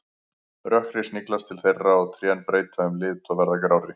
Rökkrið sniglast til þeirra og trén breyta um lit og verða grárri.